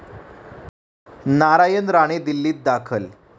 नारायण राणे दिल्लीत दाखल